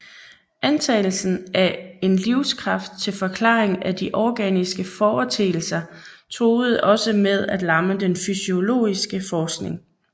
Antagelsen af en livskraft til forklaring af de organiske foreteelser truede også med at lamme den fysiologiske forskning